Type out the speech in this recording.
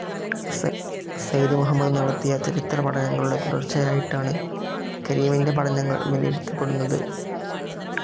സെയ്ദ്‌ മുഹമ്മദ് നടത്തിയ ചരിത്രപഠനങ്ങളുടെ തുടർച്ചയായിട്ടാണ് കരീമിന്റെ പഠനങ്ങൾ വിലയിരുത്തപ്പെടുന്നത്.